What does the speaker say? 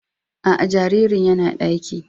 A a, jaririn ya na ɗaki.